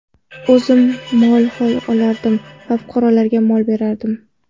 O‘zim mol olardim va fuqarolarga mol berardim.